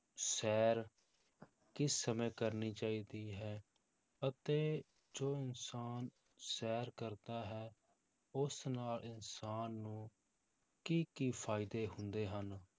ਸ਼ੈਰ ਕਿਸ ਸਮੇਂ ਕਰਨੀ ਚਾਹੀਦੀ ਹੈ ਅਤੇ ਜੋ ਇਨਸਾਨ ਸ਼ੈਰ ਕਰਦਾ ਹੈ, ਉਸ ਨਾਲ ਇਨਸਾਨ ਨੂੰ ਕੀ ਕੀ ਫ਼ਾਇਦੇ ਹੁੰਦੇ ਹਨ।